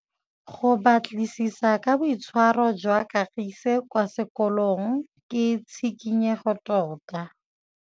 Go batlisisa ka boitshwaro jwa Kagiso kwa sekolong ke tshikinyêgô tota.